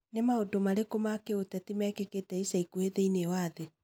Nĩ maũndũ marĩkũ ma kĩũteti mekĩkĩte ica ikuhĩ thĩinĩ wa thĩ?